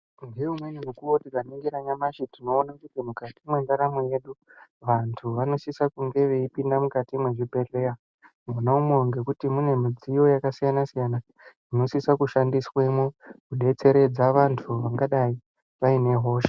Ngeumweni mukuwo tikaningira nyamashi tinoona kuti mukati mwendaramo yedu vantu vanosisa kunge veipinda mukati mwezvibhedhleya mwonamwo . Ngekuti mune midziyo yakasiyana-siyana inosisa kushandiswemo kudetseredza vantu vangadai vaine hosha.